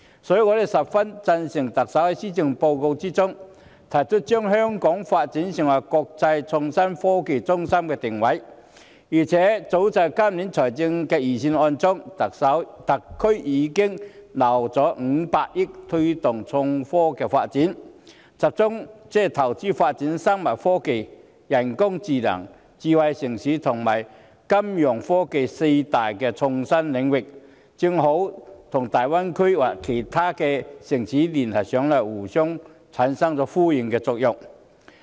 所以，我十分贊成特首在施政報告中，提出將香港發展成為國際創新科技中心的定位，而且，早在今年財政預算案中，特區政府已預留500億元推動創科發展，集中投資發展生物科技、人工智能、智慧城市和金融科技四大創新領域，這正好與大灣區其他城市的發展連繫起來，產生互相呼應的作用。